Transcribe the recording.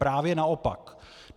Právě naopak.